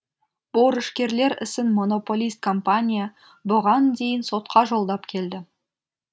борышкерлер ісін монополист компания бұған дейін сотқа жолдап келді